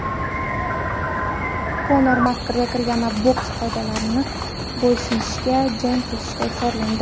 Konor Makgregor yana boks qoidalari bo‘yicha jang qilishga chorlandi.